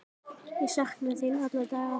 Ég sakna þín alla daga.